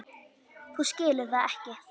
Þú skilur það ekki.